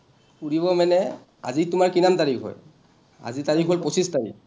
ফুৰিব মানে, আজি তোমাৰ কিমান তাৰিখ হয়? আজি তাৰিখ হ’ল পঁচিছ তাৰিখ।